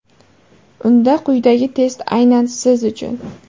Unda quyidagi test aynan siz uchun.